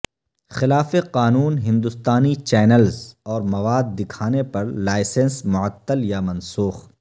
خلاف قانون ہندوستانی چینلز اور مواد دکھانے پرلائسنس معطل یا منسوخ